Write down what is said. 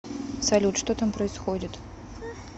салют что там происходит